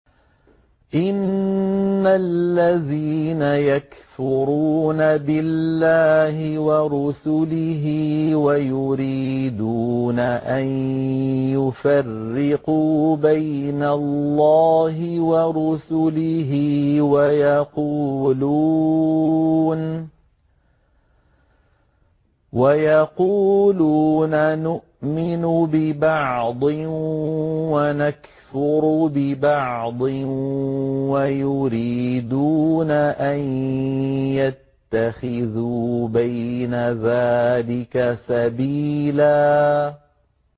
إِنَّ الَّذِينَ يَكْفُرُونَ بِاللَّهِ وَرُسُلِهِ وَيُرِيدُونَ أَن يُفَرِّقُوا بَيْنَ اللَّهِ وَرُسُلِهِ وَيَقُولُونَ نُؤْمِنُ بِبَعْضٍ وَنَكْفُرُ بِبَعْضٍ وَيُرِيدُونَ أَن يَتَّخِذُوا بَيْنَ ذَٰلِكَ سَبِيلًا